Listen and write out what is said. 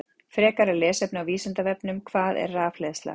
Frekara lesefni á Vísindavefnum: Hvað er rafhleðsla?